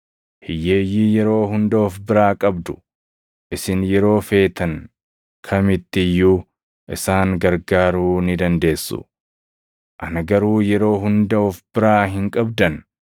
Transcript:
Hiyyeeyyii yeroo hunda of biraa qabdu; isin yeroo feetan kamitti iyyuu isaan gargaaruu ni dandeessu. Ana garuu yeroo hunda of biraa hin qabdan.